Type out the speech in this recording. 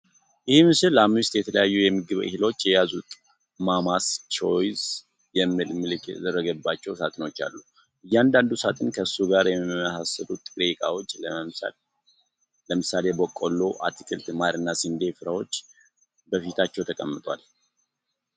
ይህ ምስል አምስት የተለያዩ የምግብ እህሎች የያዙ "ማማስ ቾይስ" የሚል ምልክት የተደረገባቸውን ሳጥኖች አሉ። እያንዳንዱ ሳጥን ከሱ ጋር የሚመሳሰሉ ጥሬ እቃዎች፣ ለምሳሌ በቆሎ፣ አትክልት፣ ማርና የስንዴ ፍሬዎች በፊታቸው ተቀምጠዋል።